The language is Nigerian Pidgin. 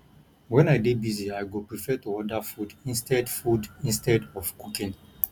wen i dey busy i go prefer to order food instead food instead of cooking